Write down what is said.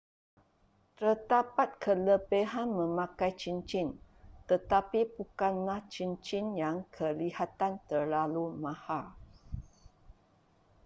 terdapat kelebihan memakai cincin tetapi bukanlah cincin yang kelihatan terlalu mahal